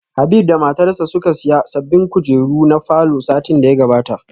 Habib da matarsa ​​suka siya sabbin kujeru na falor satin da ya gabata